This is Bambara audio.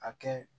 A kɛ